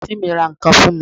Àǹtí mi ra ǹkan fún mi